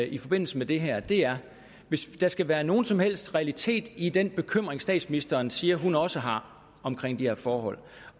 i forbindelse med det her og det er hvis der skal være nogen som helst realitet i den bekymring statsministeren siger hun også har om de her forhold